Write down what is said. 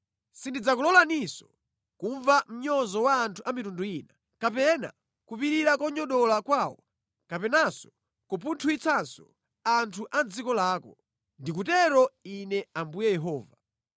Sindidzakulolaninso kumva mnyozo wa anthu a mitundu ina, kapena kupirira kunyogodola kwawo kapenanso kupunthwitsanso anthu a mʼdziko lako. Ndikutero Ine Ambuye Yehova.”